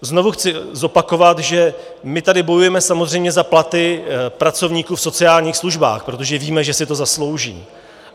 Znovu chci zopakovat, že my tady bojujeme samozřejmě za platy pracovníků v sociálních službách, protože víme, že si to zaslouží.